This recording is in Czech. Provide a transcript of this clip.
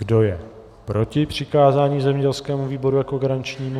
Kdo je proti přikázání zemědělskému výboru jako garančnímu?